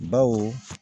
Baw